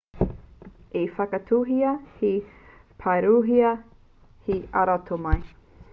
i whakatauhia he pakirehua hei aromātai